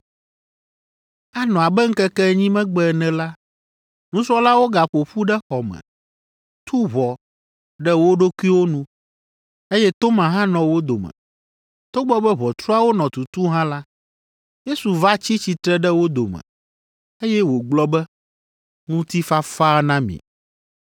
Anɔ abe ŋkeke enyi megbe ene la, nusrɔ̃lawo gaƒo ƒu ɖe xɔ me, tu ʋɔ ɖe wo ɖokuiwo nu, eye Toma hã nɔ wo dome. Togbɔ be ʋɔtruawo nɔ tutu hã la, Yesu va tsi tsitre ɖe wo dome, eye wògblɔ be, “Ŋutifafa na mi.”